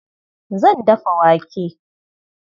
Zan dafa wake.